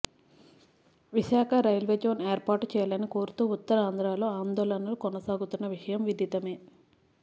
Visakha railway zone ఏర్పాటు చేయాలని కోరుతూ ఉత్తరాంధ్రలో ఆందోళనలు కొనసాగుతున్న విషయం విదితమే